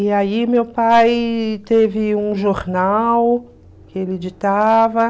E aí meu pai teve um jornal que ele editava.